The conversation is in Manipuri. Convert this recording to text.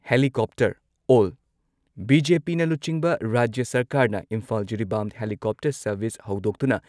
ꯍꯦꯂꯤꯀꯣꯞꯇꯔ ꯑꯣꯜ ꯕꯤ.ꯖꯦ.ꯄꯤꯅ ꯂꯨꯆꯤꯡꯕ ꯔꯥꯖ꯭ꯌ ꯁꯔꯀꯥꯔꯅ ꯏꯝꯐꯥꯜ-ꯖꯤꯔꯤꯕꯥꯝ ꯍꯦꯂꯤꯀꯣꯞꯇꯔ ꯁꯔꯚꯤꯁ ꯍꯧꯗꯣꯛꯇꯨꯅ